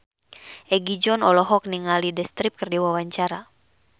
Egi John olohok ningali The Script keur diwawancara